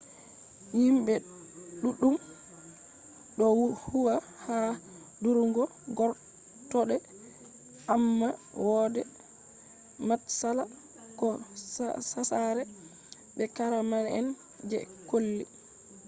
himɓe ɗuɗɗun ɗo huwa ha durugu gortoɗe amma wode matsala ko hasare be karama’en je colli